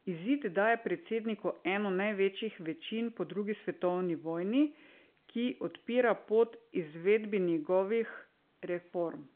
Izid daje predsedniku eno največjih večin po drugi svetovni vojni, ki odpira pot izvedbi njegovih reform.